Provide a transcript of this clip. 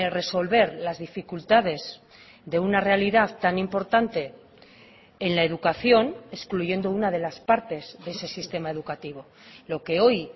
resolver las dificultades de una realidad tan importante en la educación excluyendo una de las partes de ese sistema educativo lo que hoy